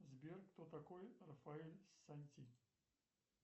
сбер кто такой рафаэль санти